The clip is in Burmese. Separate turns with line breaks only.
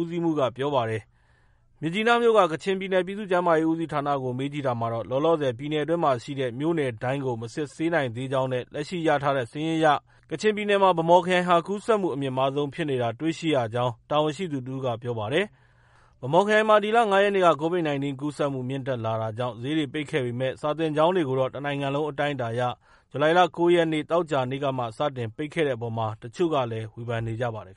ဦးစီးမှုးက ပြောပါတယ်။ မြစ်ကြီးနားမြို့က ကချင်ပြည်နယ် ပြည်သူ့ ကျန်းမာရေး ဦးစီးဌာနကို မေးမြန်းရာမှာတော့ လောလောဆည် ပြည်နယ်အတွင်းရှိ မြို့နယ်တိုင်းကို မစစ်ဆေးနိုင်သေးကြောင်းနဲ့ လက်ရှိရရှိထားတဲ့စာရင်းအရ ကချင်ပြည်နယ်မှာ ဗန်းမော်ခရိုင်ဟာ ကူးစက်မှုအမြင့်မားဆုံးဖြစ်နေတာ တွေ့ရှိရကြောင်းတာဝန်ရှိသူတစ်ဦးက ပြောပါတယ်။ ဗန်းမော်ခရိုင်မှာ ဒီလ ၅ရက်နေ့က Covid 19 ကူးစက်မှုမြင့်တက်လာတာကြောင့် ဈေးတွေ ပိတ်ခဲ့ပေမဲ့ စာသင်ကျောင်းတွေကိုတော့ တစ်နိုင်ငံလုံးအတိုင်းအတာအရ ဇူလိုင်လ ၉ ရက် သောကြာနေ့ကမှ စတင်ပိတ်တဲ့အပေါ် တချို့ကလည်း ဝေဖန်နေကြပါတယ်